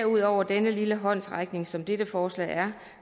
ud over denne lille håndsrækning som dette forslag er